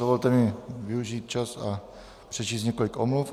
Dovolte mi využít čas a přečíst několik omluv.